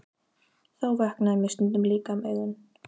Þá vöknaði mér stundum líka um augu.